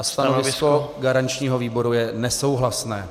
A stanovisko garančního výboru je nesouhlasné.